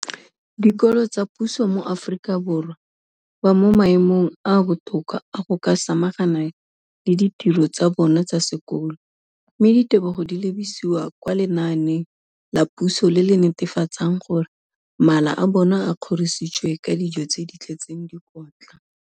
dikolo tsa puso mo Aforika Borwa ba mo maemong a a botoka a go ka samagana le ditiro tsa bona tsa sekolo, mme ditebogo di lebisiwa kwa lenaaneng la puso le le netefatsang gore mala a bona a kgorisitswe ka dijo tse di tletseng dikotla.